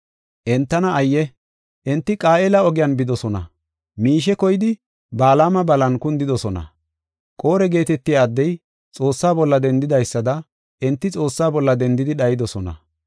Entana ayye! Enti Qaayela ogiyan bidosona. Miishe koyidi Balaama balan kundidosona. Qore geetetiya addey Xoossaa bolla dendidaysada enti Xoossaa bolla dendidi dhayidosona.